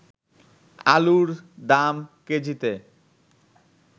আলুর দাম কেজিতে